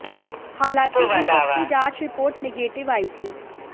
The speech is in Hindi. हालांकि इन सब की जांच रिपोर्ट नेगेटिव आई थी